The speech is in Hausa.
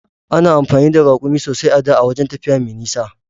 Ana amfani da Raƙumi sosai a da wajan tafiya mai nisa.